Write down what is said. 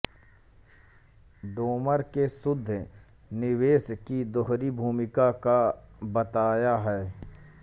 Domar ने शुद्ध निवेश की दोहरी भूमिका का बताया है